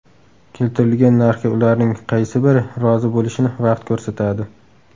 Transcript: Keltirilgan narxga ularning qaysi biri rozi bo‘lishini vaqt ko‘rsatadi.